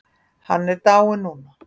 Hann er dáinn núna.